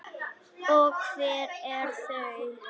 Og hver eru þau?